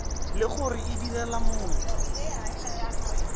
le gore o direla motho